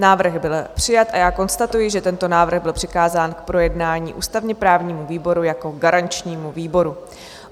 Návrh byl přijat a já konstatuji, že tento návrh byl přikázán k projednání ústavně-právnímu výboru jako garančnímu výboru.